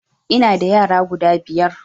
Ina da yara guda biyar